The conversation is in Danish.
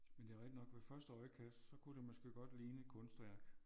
Men det er rigtig nok ved første øjekast så kunne det måske godt ligne et kunstværk